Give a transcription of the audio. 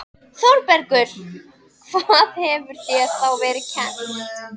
ÞÓRBERGUR: Hvað hefur þér þá verið kennt?